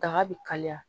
Daga bɛ kaliya